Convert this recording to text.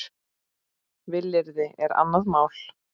Vilyrði er annað mál.